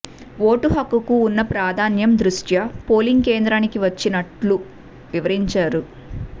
vote హక్కుకు ఉన్న ప్రాధాన్యం దృష్ట్యా పోలింగ్ కేంద్రానికి వచ్చినట్లు వివరించారు